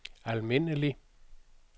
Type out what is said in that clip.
almindelig